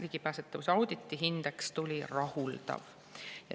Ligipääsetavuse auditi hindeks tuli "rahuldav".